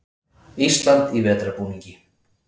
Ísland í vetrarbúningi.